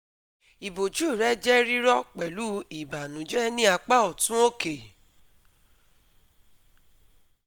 Iboju rẹ jẹ rirọ pẹlu ìbànújẹ ni apa ọtun oke